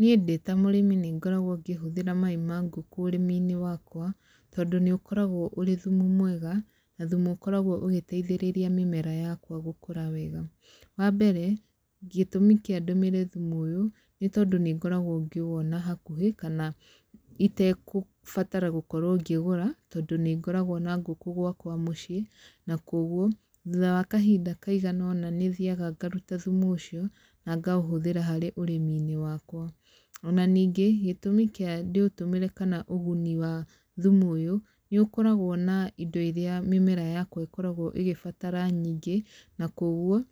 Niĩ ndĩ ta mũrĩmi nĩ ngoragwo ngĩhũthĩra mai ma ngũkũ ũrĩmi-inĩ wakwa, tondũ nĩ ũkoragwo ũrĩ thumu mwega, na thumu ũkoragwo ũgĩteithĩrĩria mĩmera yakwa gũkũra wega. Wa mbere, gĩtũmi kĩa ndũmĩre thumu ũyũ, nĩ tondũ nĩ ngoragwo ngĩwona hakuhĩ, kana itegũbatara gũkorwo ngĩgũra, tondũ nĩ ngoragwo na ngũkũ gwakwa mũciĩ, na kũguo, thutha wa kahinda kaigana ũna nĩ thiaga ngaruta thumu ũcio, na ngaũhũthĩra harĩ ũrĩmi-inĩ wakwa. Ona ningĩ, gĩtũmi kĩa ndĩũtũmĩre kana ũguni wa thumu ũyũ, nĩ ũkoragwo na indo irĩa mĩmera yakwa ĩkoragwo ĩgĩbatara nyingĩ, na kũguo,